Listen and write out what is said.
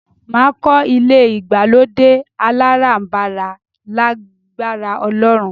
Máa kọ́ ilé ìgbàlódé aláràǹbarà lágbára Ọlọ́run